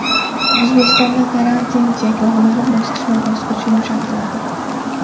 O‘zbekistonda karantin cheklovlari bosqichma-bosqich yumshatiladi.